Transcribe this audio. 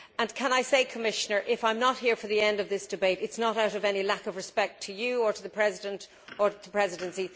And can I say, Commissioner, that if I am not here for the end of this debate, it is not out of any disrespect to you or to the President or to the Presidency